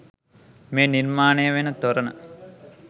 මේ නිර්මාණය වන තොරණ